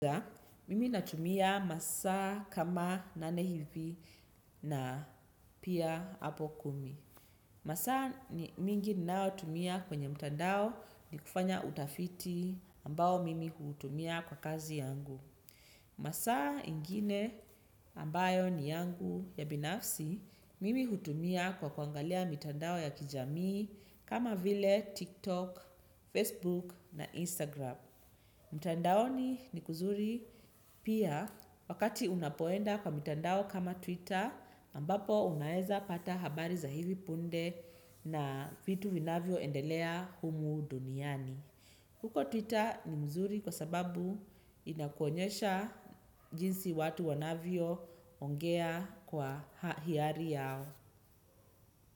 Mimi natumia masaa kama nane hivi na pia hapo kumi. Masa mingi ninao tumia kwenye mtandao ni kufanya utafiti ambao mimi hutumia kwa kazi yangu. Masa ingine ambayo ni yangu ya binafsi, mimi hutumia kwa kuangalia mitandao ya kijamii kama vile TikTok, Facebook na Instagram. Mtandaoni ni kuzuri pia wakati unapoenda kwa mtandao kama Twitter ambapo unaeza pata habari za hivi punde na vitu vinavyo endelea humu duniani. Huko Twitter ni mzuri kwa sababu inakuonyesha jinsi watu wanavyo ongea kwa hiari yao.